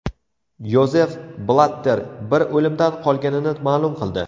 Yozef Blatter bir o‘limdan qolganini ma’lum qildi.